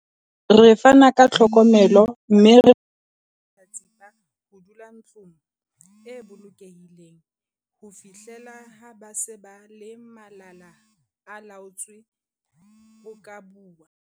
"Re fana ka tlhokomelo mme re dumella mahlatsipa ho dula ntlong e bolokehileng ho fihlela ha ba se ba le malala-a-laotswe ho ka bua."